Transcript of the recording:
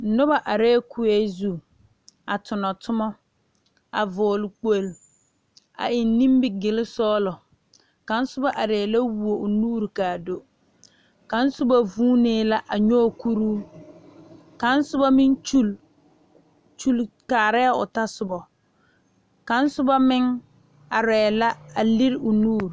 Noba are kue zu a tuna tuma a eŋ nimigele sɔglɔ kaŋ soba are la a woɔ o nuure kaa do kaŋ soba vuune la a nyoŋ kuri ka soba meŋ Kyuule Kyuule are o tasoba kaŋ soba meŋ are la a leri o nuure.